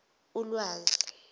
ulwazi